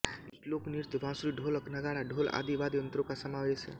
इस लोक नृत्य बांसुरी ढोलक नगाड़ा ढोल आदि वाद्ययंत्रों का समावेश है